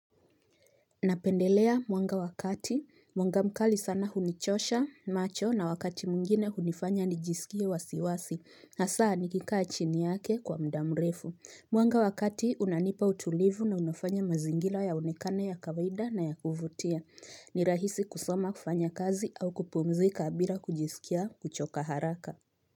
Napendelea mwanga wa kati, mwanga mkali sana hunichosha macho na wakati mwngine hunifanya nijisikia wasiwasi, hasa nikikaa chini yake kwa mda mrefu. Mwanga wakati unanipa utulivu na unafanya mazingira yaonekane ya kawaida na ya kuvutia. Nirahisi kusoma kufanya kazi au kupumzi kabila kujisikia kuchoka haraka.